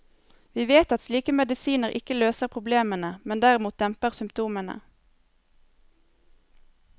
Vi vet at slike medisiner ikke løser problemene, men derimot demper symptomene.